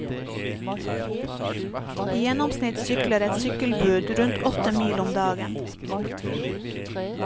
I gjennomsnitt sykler et sykkelbud rundt åtte mil om dagen.